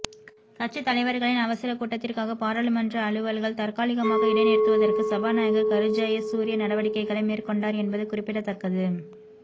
கட்சி தலைவர்களின் அவசர கூட்டத்திற்காக பாராளுமன்ற அலுவல்கள் தற்காலிகமாக இடைநிறுத்துவதற்கு சபாநாயகர் கருஜயசூரிய நடவடிக்கைளை மேற்கொண்டார் என்பது குறிப்பிடத்தக்கது